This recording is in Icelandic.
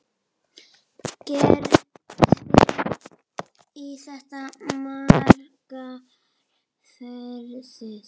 Gerði í þetta margar ferðir.